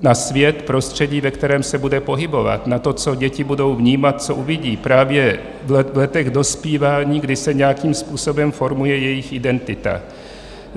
na svět, prostředí, ve kterém se bude pohybovat, na to, co děti budou vnímat, co uvidí právě v letech dospívání, kdy se nějakým způsobem formuje jejich identita.